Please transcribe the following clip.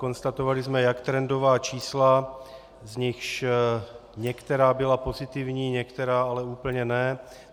Konstatovali jsme jak trendová čísla, z nichž některá byla pozitivní, některá ale úplně ne.